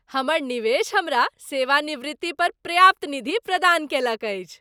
हमर निवेश हमरा सेवानिवृत्ति पर पर्याप्त निधि प्रदान कयलक अछि।